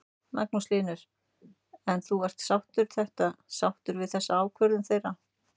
Magnús Hlynur: En þú ert sáttur þetta, sáttur við þessa ákvörðun með hanana?